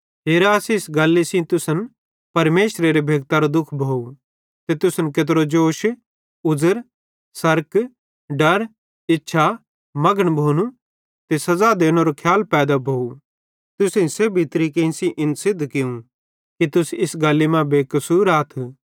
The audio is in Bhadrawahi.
ते हेरा इस्से गल्ली सेइं तुसन परमेशरेरे भेक्तरो दुःख भोव कि तुसन केत्रो जोश उज़र सरक डर इच्छा मघन भोनू ते सज़ा देनेरो खियाल पैदा भोव तुसेईं सेब्भी तरीके सेइं इन सिद्ध कियूं कि तुस इस गल्ली मां बेकसूर आथ